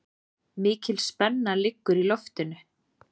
Mikil spenna liggur í loftinu